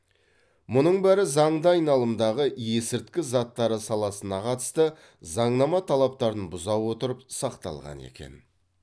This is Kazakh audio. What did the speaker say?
мұның бәрі заңды айналымдағы есірткі заттары саласына қатысты заңнама талаптарын бұза отырып сақталған екен